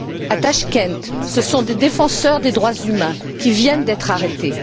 À Tachkent, ce sont des défenseurs des droits humains qui viennent d'être arrêtés.